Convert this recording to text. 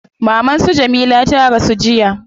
Maman su Jamila ta rasu jiya